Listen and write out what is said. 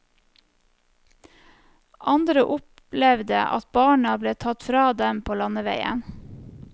Andre opplevde at barna ble tatt fra dem på landeveien.